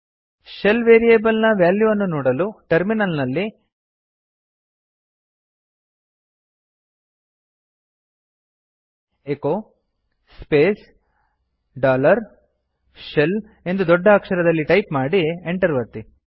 shell variable ನ value ಅನ್ನು ನೋಡಲು ಟರ್ಮಿನಲ್ ನಲ್ಲಿ echo space dollar s h e l ಲ್ ಎಂದು ದೊಡ್ಡ ಅಕ್ಷರದಲ್ಲಿ ಟೈಪ್ ಮಾಡಿ enter ಒತ್ತಿ